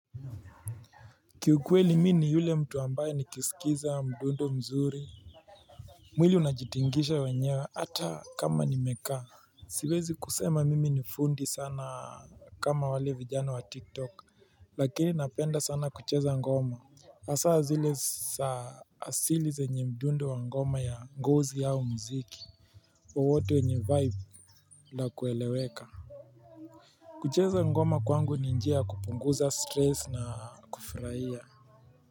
Kiukweli mi ni yule mtu ambaye nikisikiza mdundo mzuri. Mwili unajitingisha wenyewe hata kama nimekaa. Siwezi kusema mimi nifundi sana kama wale vijana wa tiktok. Lakini napenda sana kucheza ngoma hasaa zile saa asili zenye mdundo wa ngoma ya ngozi au mziki wowote wenye vibe la kueleweka. Kucheza ngoma kwangu ni njia kupunguza stress na kufurahiya.